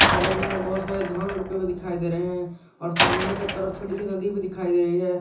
बगल में बहोत सारे धान रोपे हुए दिखाई दे रहे हैं और सामने के तरफ छोटी सी नदी दिखाई दे रही है।